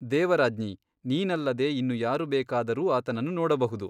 ದೇವರಾಜ್ಞಿ ನೀನಲ್ಲದೆ ಇನ್ನು ಯಾರು ಬೇಕಾದರೂ ಆತನನ್ನು ನೋಡಬಹುದು.